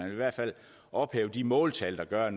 i hvert fald ophæve de måltal der gør at